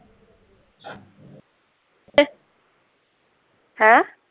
ਹੈਂ